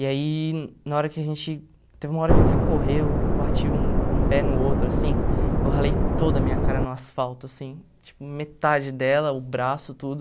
E aí, na hora que a gente, teve uma hora que eu fui correr, eu bati um um pé no outro, assim, eu ralei toda a minha cara no asfalto, assim, tipo, metade dela, o braço, tudo.